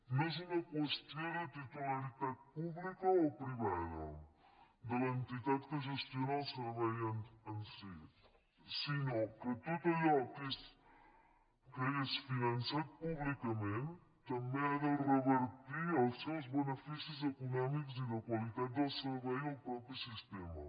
no és una qüestió de titularitat pública o privada de l’entitat que gestiona el servei en si sinó que tot allò que és finançat públicament també ha de revertir els seus beneficis econòmics i de qualitat del servei al propi sistema